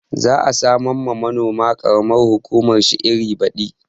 Zai samar wa manoman ƙaramar hukumar shi iri baɗi